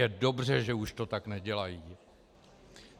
Je dobře, že už to tak nedělají.